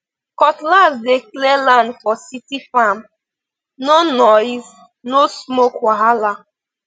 cutlass dey clear land for city farmno noise no smoke wahala